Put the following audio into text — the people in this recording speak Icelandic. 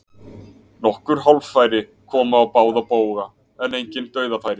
Nokkur hálffæri komu á báða bóga en engin dauðafæri.